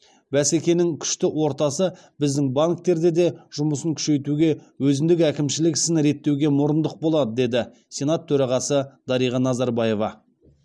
бәсекенің күшті ортасы біздің банктерде де жұмысын күшейтуге өзіндік әкімшілік ісін реттеуге мұрындық болады деді сенат төрағасы дариға назарбаева